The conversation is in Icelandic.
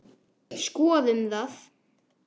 Skoðum það.